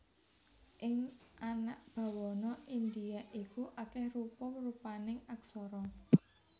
Ing anak bawana Indhia iku akèh rupa rupaning aksara